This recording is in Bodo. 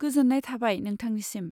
गोजोन्नाय थाबाय नोंथांनिसिम!